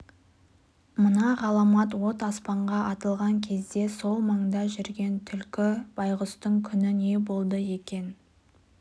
мына ғаламат от аспанға атылған кезде сол маңда жүрген түлкі байғұстың күні не болды екен